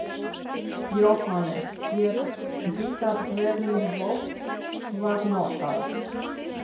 Jóhannes: Er vitað hvernig vopn var notað?